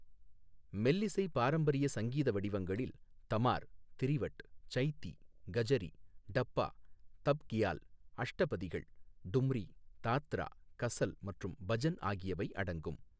மெல்லிசை பாரம்பரிய சங்கீத வடிவங்களில் தமார், திரிவட், சைதீ, கஜரீ, டப்பா, தப் க்யால், அஷ்டபதிகள், டும்ரீ, தாத்ரா, கஸல் மற்றும் பஜன் ஆகியவை அடங்கும்.